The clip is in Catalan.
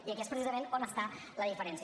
i aquí és precisament on està la diferència